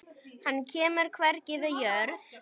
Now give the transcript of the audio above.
Hann kemur hvergi við jörð.